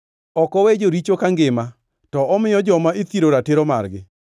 Ok owe joricho kangima, to omiyo joma ithiro ratiro margi.